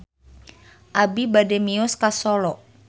Abi bade mios ka Solo